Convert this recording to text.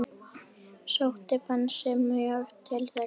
Sótti Bensi mjög til þeirra.